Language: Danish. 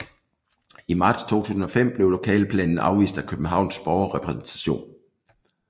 I marts 2005 blev lokalplanen afvist af Københavns Borgerrepræsentation